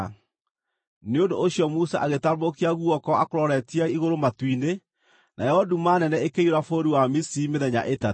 Nĩ ũndũ ũcio Musa agĩtambũrũkia guoko akũroretie igũrũ matu-inĩ, nayo nduma nene ĩkĩiyũra bũrũri wa Misiri mĩthenya ĩtatũ.